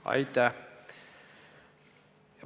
Aitäh!